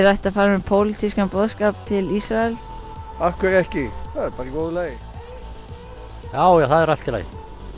ætti að fara með pólitískan boðskap til Ísraels af hverju ekki það er bara í góðu lagi já já það er allt í lagi